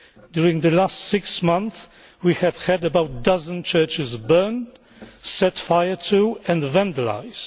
During the last six months we have had about a dozen churches burned, set fire to and vandalised.